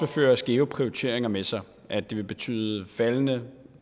føre skæve prioriteringer med sig at det vil betyde faldende